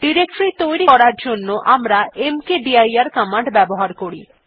directory তৈরী করার জন্য আমরা মকদির কমান্ড ব্যবহার করি